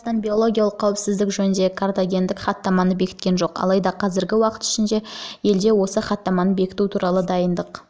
қазақстан биологиялық қауіпсіздік жөніндегі картагендік хаттаманы бекіткен жоқ алайда қазіргі уақыт ішінде елде осы хаттаманы бекіту туралы дайындық